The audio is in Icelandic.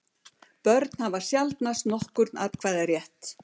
Börn hafa sjaldnast nokkurn atkvæðarétt.